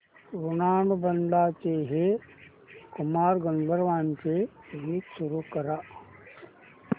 ऋणानुबंधाच्या हे कुमार गंधर्वांचे गीत सुरू कर